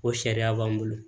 O sariya b'an bolo